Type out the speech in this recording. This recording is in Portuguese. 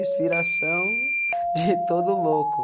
Inspiração de todo o louco.